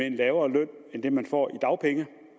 en lavere løn end det man får i dagpenge